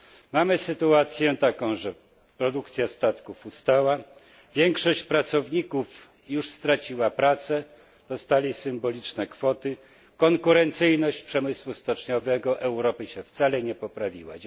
Mamy sytuację taką, że produkcja statków ustała, większość pracowników już straciła pracę, dostała symboliczne kwoty a konkurencyjność przemysłu stoczniowego Europy się wcale nie poprawiła.